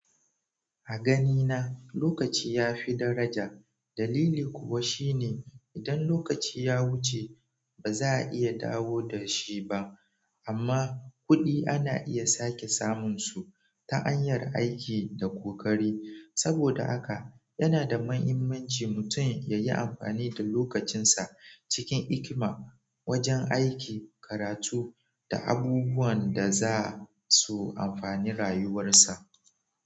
A ganina lokaci ya fi daraja. Dalili kuwa shine idan lokaci ya wuce ba za a iya dawo da shi ba amma kuɗi ana iya sake samunsu ta hanyar aiki da ƙoƙari. Saboda haka yana da mahimmanci mutum ya yi amfani da lokacinsa cikin hikima wajen aiki, karatu da abubuwan da za su amfani rayuwarsa.